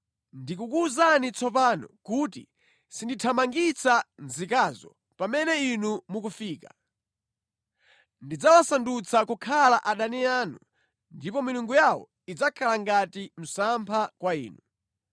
Ndikukuwuzani tsopano kuti sindithamangitsa nzikazo pamene inu mukufika. Ndidzawasandutsa kukhala adani anu ndipo milungu yawo idzakhala ngati msampha kwa inu.”